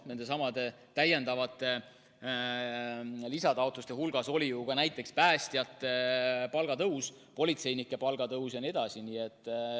Nendesamade lisataotluste hulgas oli ju ka näiteks päästjate ja politseinike palga tõus jne.